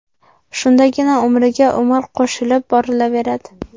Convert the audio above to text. Shundagina umriga umr qo‘shilib borilaveradi.